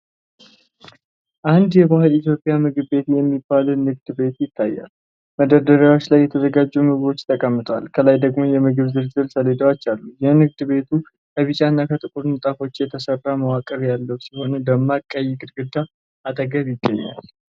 አንድ የባህሊ ኢትዮጵያ ምግብ ቤት የሚባል ንግድ ቤት ይታያል። መደርደሪያዎች ላይ የተዘጋጁ ምግቦች ተቀምጠዋል፣ ከላይ ደግሞ የምግብ ዝርዝር ሰሌዳዎች አሉ። የንግድ ቤቱ ከቢጫና ከጥቁር ንጣፎች የተሰራ መዋቅር ያለው ሲሆን ደማቅ ቀይ ግድግዳ አጠገብ ይገኛል።